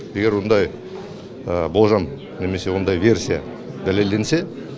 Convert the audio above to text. егер ондай болжам немесе ондай версия дәлелденсе